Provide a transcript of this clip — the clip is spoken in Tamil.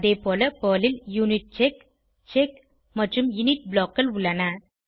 அதேபோல பெர்ல் ல் யூனிட்செக் செக் மற்றும் இனிட் blockகள் உள்ளன